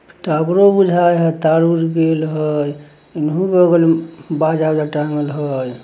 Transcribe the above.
टॉवेरो बुझाए हई तार-उर गइल हई इ बगल में बाजा-उजा टांगल हई।